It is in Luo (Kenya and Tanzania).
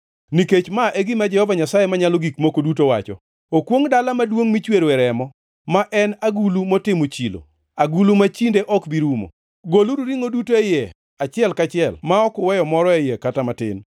“ ‘Nikech ma e gima Jehova Nyasaye Manyalo Gik Moko Duto wacho: “ ‘Okwongʼ dala maduongʼ michweroe remo, ma en agulu motimo chilo, agulu ma chinde ok bi rumo. Goluru ringʼo duto e iye achiel kachiel ma ok uweyo moro e iye kata matin.